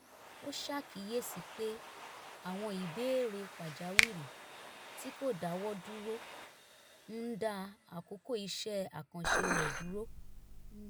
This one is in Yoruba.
ó ṣàkíyèsí pé àwọn ìbéèrè pàjáwìrì tí kò dáwọ́ dúró ń da àkókò iṣẹ́ àkànṣe rẹ̀ dúró